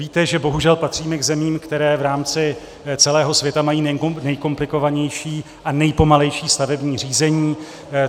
Víte, že bohužel patříme k zemím, které v rámci celého světa mají nejkomplikovanější a nejpomalejší stavební řízení.